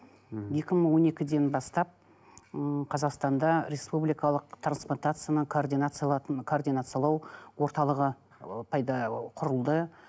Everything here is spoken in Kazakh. мхм екі мың он екіден бастап ы қазақстанда республикалық трансплантацияны координациялау орталығы ы пайда ы құрылды